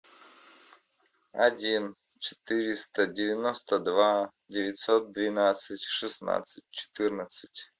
один четыреста девяносто два девятьсот двенадцать шестнадцать четырнадцать